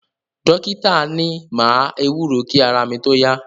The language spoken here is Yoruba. Dọ́kítà ni máa ewúro kí ara mi tó yá.